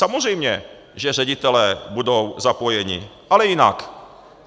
Samozřejmě že ředitelé budou zapojeni, ale jinak.